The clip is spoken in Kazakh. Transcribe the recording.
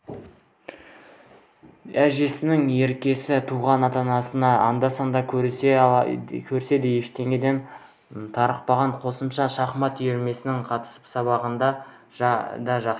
әжесінің еркесі туған ата-анасын анда-санда көрсе де ештеңеден тарықпаған қосымша шахмат үйірмесіне қатысып сабағын да жақсы